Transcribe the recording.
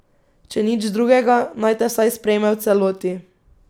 Če nič drugega, naj te vsaj sprejme v celoti.